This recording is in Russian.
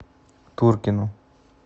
туркину